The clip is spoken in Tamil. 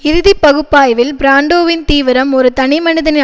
இறுதி பகுப்பாய்வில் பிராண்டோவின் தீவிரம் ஒரு தனிமனிதனின்